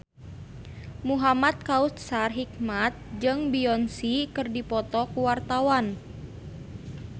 Muhamad Kautsar Hikmat jeung Beyonce keur dipoto ku wartawan